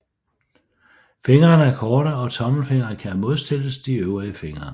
Fingrene er korte og tommelfingeren kan modstilles de øvrige fingre